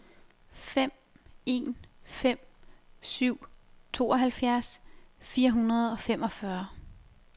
fem en fem syv tooghalvfjerds fire hundrede og femogfyrre